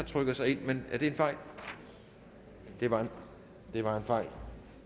trykket sig ind men er det en fejl det var var en fejl